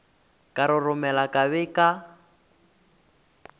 ka roromela ka be ka